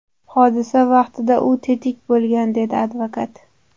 Hodisa vaqtida u tetik bo‘lgan”, − dedi advokat.